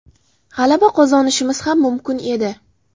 G‘alaba qozonishimiz ham mumkin edi.